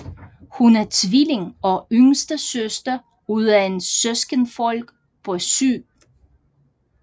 Hun er tvilling og yngste søster ud af en søskendeflok på syv